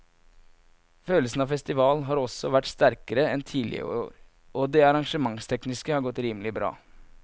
Følelsen av festival har også vært sterkere enn tidligere år og det arrangementstekniske har godt rimelig bra.